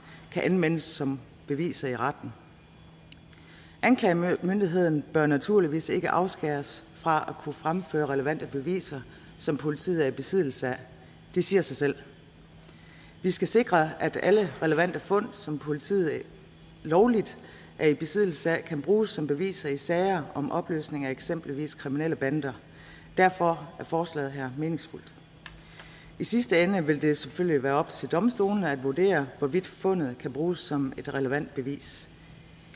kan anvendes som beviser i retten anklagemyndigheden bør naturligvis ikke afskæres fra at kunne fremføre relevante beviser som politiet er i besiddelse af det siger sig selv vi skal sikre at alle relevante fund som politiet lovligt er i besiddelse af kan bruges som beviser i sager om opløsning af eksempelvis kriminelle bander derfor er forslaget her meningsfuldt i sidste ende vil det selvfølgelig være op til domstolene at vurdere hvorvidt fundet kan bruges som et relevant bevis